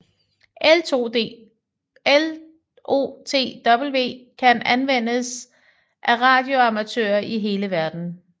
LoTW kan anvendes af radioamatører i hele verden